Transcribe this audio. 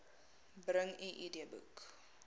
bring u idboek